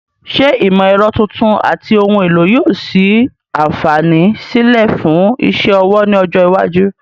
Ṣé ìmọ̀ ẹ̀rọ tuntun àti ohun èlò yóò sí àǹfààní sílẹ̀ fún iṣẹ́ ọwọ́ ní ọjọ́ iwájú?